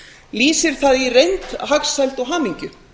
lýsir það í reynd hagsæld og hamingju